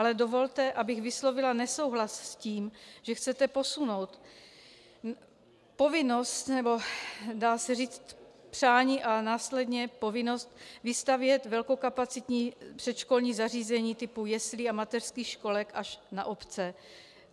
Ale dovolte, abych vyslovila nesouhlas s tím, že chcete posunout povinnost, nebo dá se říci přání a následně povinnost, vystavět velkokapacitní předškolní zařízení typu jeslí a mateřských školek až na obce.